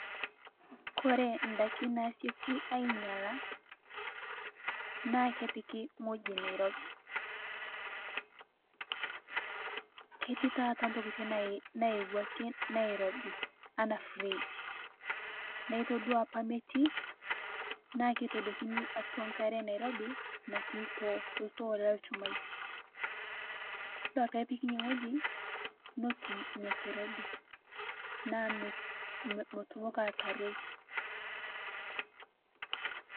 Kore ndaaki naishooki ainyalaa naa kepikii ng'oji neirobii. Ketii taata ntokitin naiyewuaki nairobii ana fridge, naa itodua apaa metii naa keitodokini atua nkaare nairobii natii ltoo ltoo le lchumai. Duaa pee epiik nia ng'oji netuum nia nkirobii naa meitumokii aitarooi.